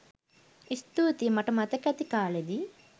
ස්තූතියි! මට මතක ඇති කාලෙදි